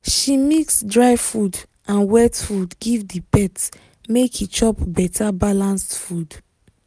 she mix dry food and wet food give the pet make e chop better balanced food